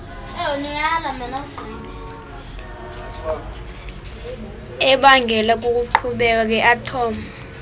ebangelwa kukuqhekeka kweathom